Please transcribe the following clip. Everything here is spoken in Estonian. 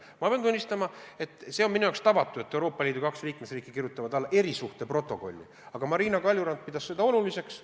Ma pean tunnistama, et see on minu jaoks tavatu, et kaks Euroopa Liidu liikmesriiki kirjutavad alla erisuhteprotokolli, aga Marina Kaljurand pidas seda oluliseks.